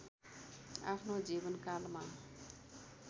आफ्नो जीवनकालमा